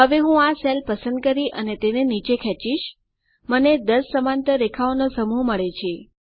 હવે હું આ સેલ પસંદ કરી અને તેને નીચે ખેંચીશ મને 10 સમાંતર રેખાઓનો સમૂહ મળે છે